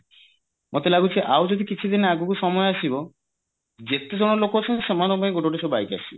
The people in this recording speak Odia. ମତେ ଲାଗୁଛି ଆଉ ଯଦି କିଛି ଦିନ ଆଗକୁ ସମୟ ଆସିବ ଯେତେ ଜଣ ଲୋକ ଅଛନ୍ତି ସମସ୍ତଙ୍କ ପାଇଁ ଗୋଟେ ଗୋଟେ ସବୁ bike ଆସିବ